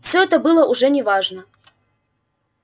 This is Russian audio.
все это было уже не важно